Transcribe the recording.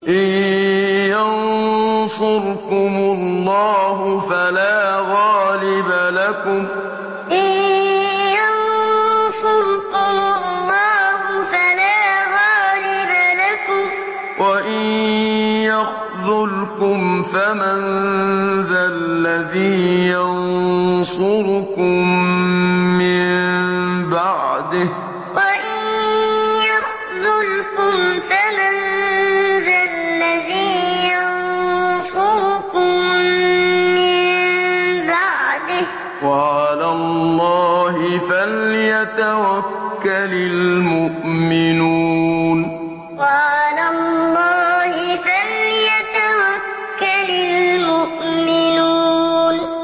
إِن يَنصُرْكُمُ اللَّهُ فَلَا غَالِبَ لَكُمْ ۖ وَإِن يَخْذُلْكُمْ فَمَن ذَا الَّذِي يَنصُرُكُم مِّن بَعْدِهِ ۗ وَعَلَى اللَّهِ فَلْيَتَوَكَّلِ الْمُؤْمِنُونَ إِن يَنصُرْكُمُ اللَّهُ فَلَا غَالِبَ لَكُمْ ۖ وَإِن يَخْذُلْكُمْ فَمَن ذَا الَّذِي يَنصُرُكُم مِّن بَعْدِهِ ۗ وَعَلَى اللَّهِ فَلْيَتَوَكَّلِ الْمُؤْمِنُونَ